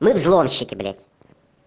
мы взломщики блядь